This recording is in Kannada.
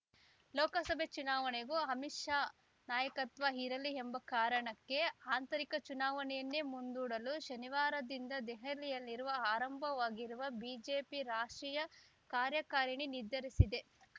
ಲೋಕಸಭೆ ಚುನಾವಣೆಗೂ ಅಮಿತ್‌ ಶಾ ನಾಯಕತ್ವ ಇರಲಿ ಎಂಬ ಕಾರಣಕ್ಕೆ ಆಂತರಿಕ ಚುನಾವಣೆಯನ್ನೇ ಮುಂದೂಡಲು ಶನಿವಾರದಿಂದ ದೆಹಲಿಯಲ್ಲಿರುವ ಆರಂಭವಾಗಿರುವ ಬಿಜೆಪಿ ರಾಷ್ಟ್ರೀಯ ಕಾರ್ಯಕಾರಿಣಿ ನಿರ್ಧರಿಸಿದೆ